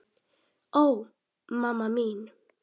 Ó, mamma mín.